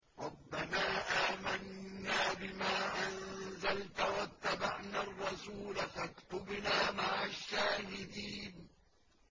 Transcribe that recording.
رَبَّنَا آمَنَّا بِمَا أَنزَلْتَ وَاتَّبَعْنَا الرَّسُولَ فَاكْتُبْنَا مَعَ الشَّاهِدِينَ